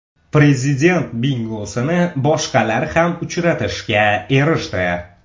Prezident bingosini boshqalar ham uchratishga erishdi.